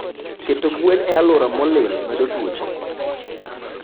Keto gwen e aluora molil medo tuoche